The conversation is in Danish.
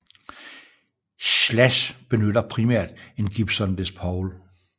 Slash benytter primært en Gibson Les Paul